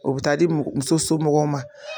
O bi taa di muso somɔgɔw ma.